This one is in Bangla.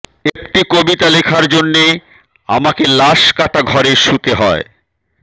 একটি কবিতা লেখার জন্যে আমাকে লাশকাটা ঘরে শুতে হয়